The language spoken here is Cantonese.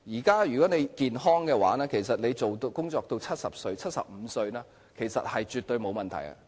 假如健康的話，其實工作至70歲或75歲是絕對沒有問題的。